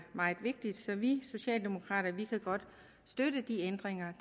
meget vigtigt så vi socialdemokrater kan godt støtte de ændringer